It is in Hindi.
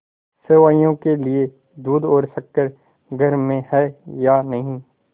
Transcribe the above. सेवैयों के लिए दूध और शक्कर घर में है या नहीं